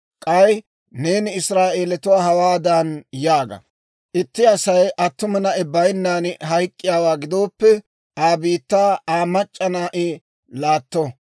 K'ay neeni Israa'eelatuwaa hawaadan yaaga; ‹Itti Asay attuma na'i bayinnan hayk'k'iyaawaa gidooppe, Aa biittaa Aa mac'c'a na'i laatto;